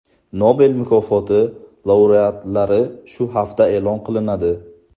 Nobel mukofoti laureatlari shu hafta e’lon qilinadi.